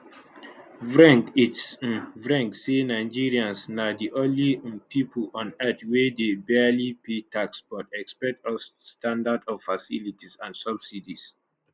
vreng its um vreng say nigerians na di only um pipo on earth wey dey barely pay tax but expect us standard of facilities and subsidies